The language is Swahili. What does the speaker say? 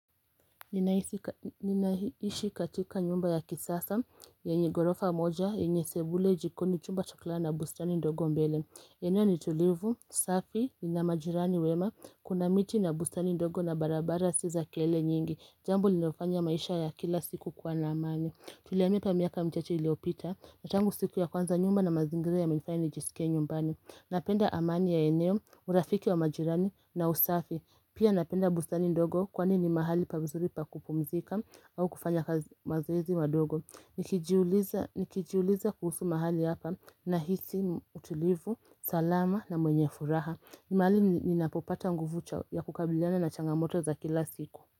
Ninaishi katika nyumba ya kisasa yenye gorofa moja yenye sebule jikoni chumba cha kulala na bustani ndogo mbele eneo ni tulivu, safi nina majirani wema kuna miti na bustani ndogo na barabara si za kele nyingi jambo linofanya maisha ya kila siku kuwa na amani tuliamia hapa miaka michache iliopita tangu siku ya kwanza nyumba na mazingira yamenifanya nijisikie nyumbani napenda amani ya eneo, urafiki wa majirani na usafi Pia napenda bustani ndogo kwani ni mahali pamzuri pa kupumzika au kufanya kazi mazoezi wadogo. Nikijiuliza kuhusu mahali hapa nahisi, utulivu, salama na mwenye furaha. Ni mahali ninapopata nguvu chao ya kukabiliana na changamoto za kila siku.